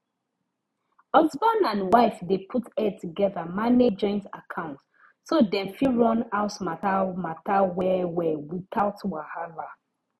husband and wife dey put head together manage joint account so dem fit run house matter matter wellwell without wahala